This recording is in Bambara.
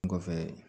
Kɔfɛ